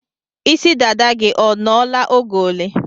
Isi dada gị ọ nọ la oge ole?